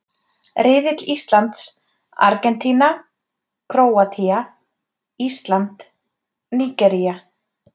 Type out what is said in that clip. Riðill Íslands: Argentína Króatía Ísland Nígería